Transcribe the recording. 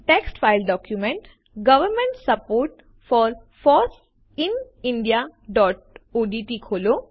text file document government support for foss in indiaઓડીટી ખોલો